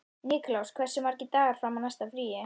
Nikulás, hversu margir dagar fram að næsta fríi?